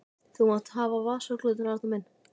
Þú mátt hafa vasaklútinn, Arnar minn!